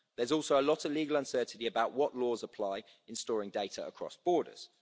There's also a lot of legal uncertainty about what laws apply in storing data across borders.